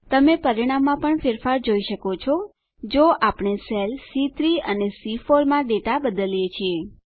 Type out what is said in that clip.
તમે પરિણામમાં પણ ફેરફાર જોઈ શકો છો જો આપણે સેલ સી3 અને સી4 માં ડેટા બદલીએ છીએ